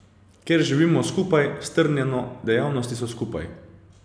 Ker živimo skupaj, strnjeno, dejavnosti so skupaj.